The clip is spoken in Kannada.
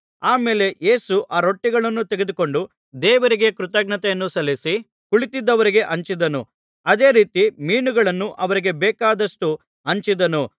ಆಮೇಲೆ ಯೇಸು ಆ ರೊಟ್ಟಿಗಳನ್ನು ತೆಗೆದುಕೊಂಡು ದೇವರಿಗೆ ಕೃತಜ್ಞತೆಯನ್ನು ಸಲ್ಲಿಸಿ ಕುಳಿತಿದ್ದವರಿಗೆ ಹಂಚಿದನು ಅದೇ ರೀತಿ ಮೀನುಗಳನ್ನು ಅವರಿಗೆ ಬೇಕಾದಷ್ಟು ಹಂಚಿದನು